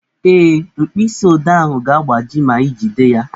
Ee, mkpịsị odee ahụ ga-agbaji ma ijide ya